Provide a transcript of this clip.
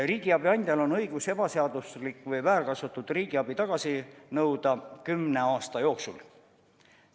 Riigiabi andjal on õigus ebaseaduslik või väärkasutatud riigiabi tagasi nõuda kümne aasta jooksul.